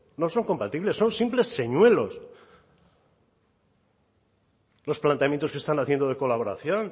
no son compatibles son simples señuelos los planteamientos que se están haciendo de colaboración